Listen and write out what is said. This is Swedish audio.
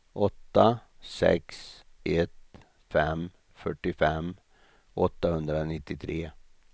åtta sex ett fem fyrtiofem åttahundranittiotre